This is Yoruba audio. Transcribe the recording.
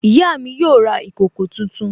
Ìyá mi yóò ra ìkòkò tuntun